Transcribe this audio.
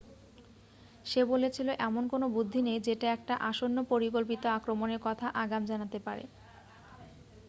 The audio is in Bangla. "সে বলেছিল "এমন কোনো বুদ্ধি নেই যেটা একটা আসন্ন পরিকল্পিত আক্রমণের কথা আগাম জানাতে পারে।""